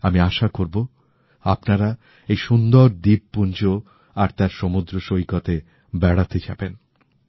আমি আশা করবো আপনারা এই সুন্দর দ্বীপপুঞ্জ আর তাদের সমুদ্রসৈকত এ বেড়াতে যাবেন